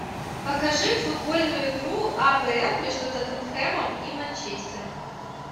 покажи футбольную игру апл между тоттенхэмом и манчестером